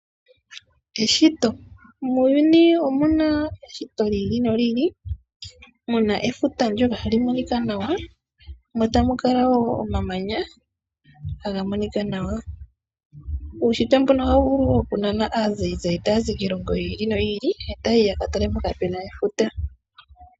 Eshito, muuyuni omuna eshito lyiili noli ili. Muna efuta ndyoka hali monika nawa. Mo tamu kala wo omamanya taga monika nawa. Uushitwe mbuno ohawu vulu oku nana aazayizayi taya zi kiilongo yiili noyi ili taya yi yaka tale mpoka puna efuta.